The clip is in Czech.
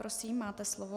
Prosím, máte slovo.